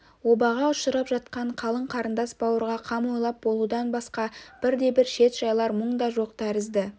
обаға ұшырап жатқан қалың қарындас-бауырға қам ойлап болудан басқа бірде-бір шет жайлар мұң да жоқ тәрізді